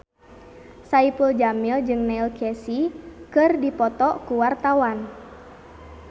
Saipul Jamil jeung Neil Casey keur dipoto ku wartawan